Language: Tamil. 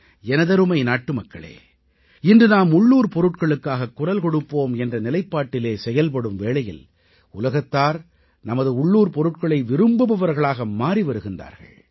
எனதருமை நாட்டுமக்களே இன்று நாம் உள்ளூர் பொருட்களுக்காகக் குரல் கொடுப்போம் என்ற நிலைப்பாட்டிலே செயல்படும் வேளையில் உலகத்தார் நமது உள்ளூர் பொருட்களை விரும்புபவர்களாக மாறி வருகிறார்கள்